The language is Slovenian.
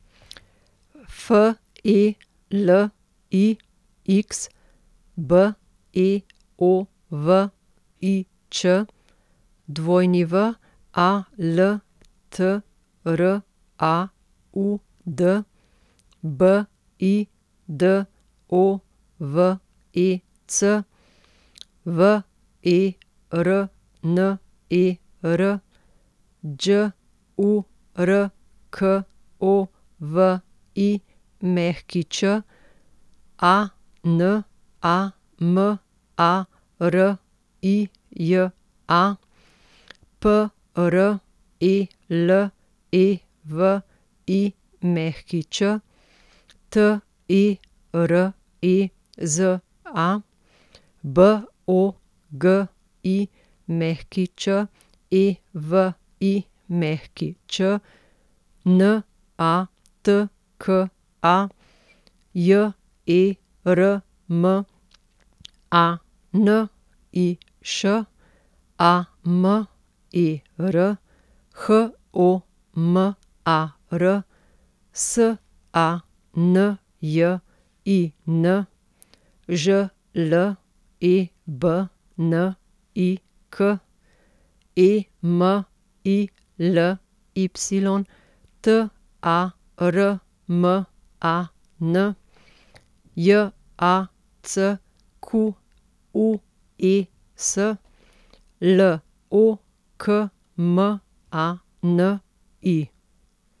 F E L I X, B E O V I Č; W A L T R A U D, B I D O V E C; V E R N E R, Đ U R K O V I Ć; A N A M A R I J A, P R E L E V I Ć; T E R E Z A, B O G I Ć E V I Ć; N A T K A, J E R M A N I Š; A M E R, H O M A R; S A N J I N, Ž L E B N I K; E M I L Y, T A R M A N; J A C Q U E S, L O K M A N I.